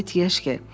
Zabit Yeşke.